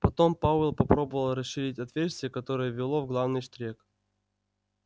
потом пауэлл попробовал расширить отверстие которое вело в главный штрек